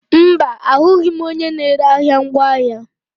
Mba, ahụghị m onye na-ere ahịa ngwaahịa.